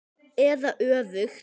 Eða öfugt.